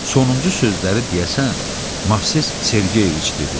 Sonuncu sözləri deyəsən Movses Sergeyeviç dedi.